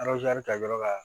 kɛ yɔrɔ la